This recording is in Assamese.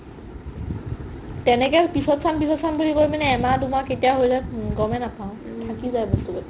তেনেকে পিছত চাম পিছত চাম বুলি কৈ পিনে এহমাহ দুমাহ কেতিয়া হৈ যাই গ'মে নাপাও থাকি যাই বস্তুবোৰ